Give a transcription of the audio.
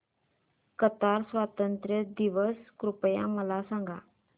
Qatar स्वातंत्र्य दिवस कृपया मला सांगा